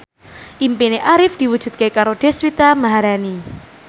impine Arif diwujudke karo Deswita Maharani